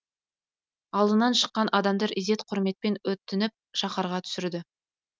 алдынан шыққан адамдар ізет құрметпен өтініп шаһарға түсірді